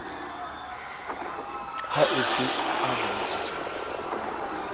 ha e se a bontshitsweng